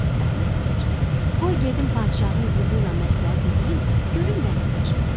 Əhməd deyir: Qoy gedim padşahın qızı ilə məsləhət eləyim, görüm nə deyir.